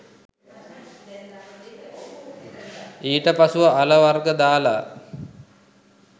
ඊට පසුව අල වර්ග දාලා